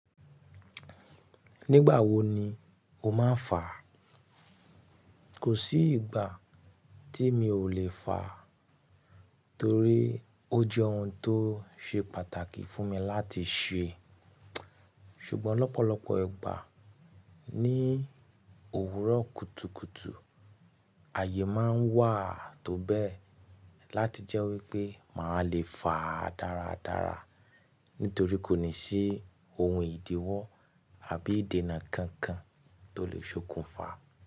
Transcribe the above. Nígbà wo ni o máa ń fa? Kò sí ìgbà tí mi ò le fa torí ó jẹ́ ohun tó ṣe pàtàkì fún mi láti ṣe. Ṣùgbọ́n lọ́pọ̀lọpọ̀ ìgbà ní òwúrọ̀ kùtùkùtù, ààyè máa ń wà tó bẹ́ẹ̀ láti jẹ́ wípé màá le fa dáradára nítorí kò ní sí ohun ìdíwọ́ àbí ìdènà kankan tó lè ṣokùnfà.